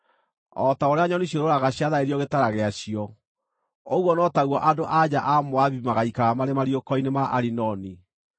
O ta ũrĩa nyoni ciũrũũraga ciatharĩrio gĩtara gĩacio, ũguo no taguo andũ-a-nja a Moabi magaikara marĩ mariũko-inĩ ma Arinoni.